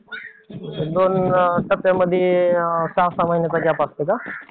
दोन टप्प्यामध्ये सहा-सहा महिन्याचा गॅप असतंय का?